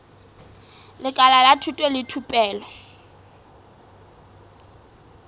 lekala la thuto le thupelo